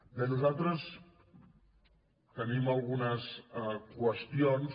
bé nosaltres tenim algunes qüestions